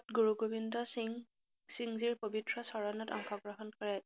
গুৰুগোবিন্দসিং সিংজীৰ পৱিত্ৰ চৰণত অংশ গ্ৰহণ কৰে।